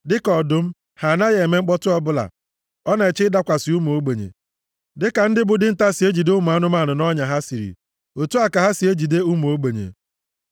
Dịka ọdụm, ha anaghị eme mkpọtụ ọbụla, ọ na-eche ịdakwasị ụmụ ogbenye. Dịka ndị bụ dinta si ejide ụmụ anụmanụ nʼọnya ha siri, otu a ka ha si ejide ụmụ ogbenye.